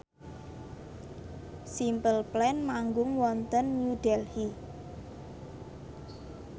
Simple Plan manggung wonten New Delhi